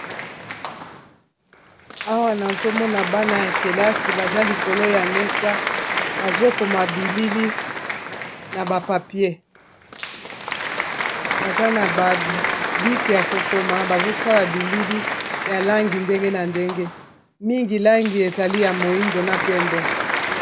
Awa nazomona bana ya kelasi baza likolo ya mesa bazokoma bilili, na ba papier baza na babike ya kokoma bazosala bilili ya langi ndenge na ndenge mingi langi ezali ya moindo na pembe.